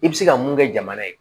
I bɛ se ka mun kɛ jamana ye